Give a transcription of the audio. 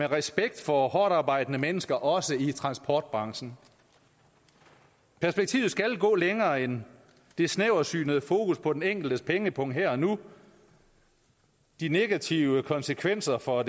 respekt for hårdtarbejdende mennesker også i transportbranchen perspektivet skal gå længere end det snæversynede fokus på den enkeltes pengepung her og nu de negative konsekvenser for